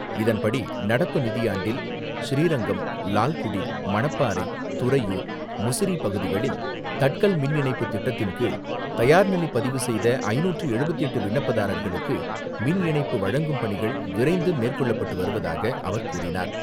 இதன்படி, நடப்பு நிதியாண்டில் ஸ்ரீரங்கம், லால்குடி, மணப்பாறை, துறையூர், முசிறி பகுதிகளில் தட்கல் மின் இணைப்பு திட்டத்தின்கீழ், தயார்நிலை பதிவு செய்த ஐந்நூற்று எழுபத்து எட்டு விண்ணப்பதாரர்களுக்கு மின்இணைப்பு வழங்கும் பணிகள் விரைந்து மேற்கொள்ளப்பட்டு வருவதாக அவர் கூறினார்.